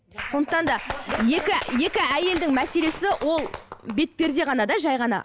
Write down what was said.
сондықтан да екі екі әйелдің мәселесі ол бетперде ғана да жай ғана